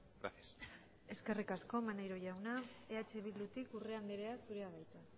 gracias eskerrik asko maneiro jauna eh bildutik urrea andrea zurea da hitza